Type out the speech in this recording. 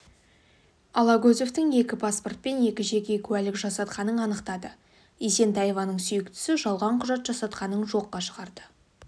алагөзовтың екі паспорт пен екі жеке куәлік жасатқанын анықтады есентаеваның сүйіктісі жалған құжат жасатқанын жоққа шығарды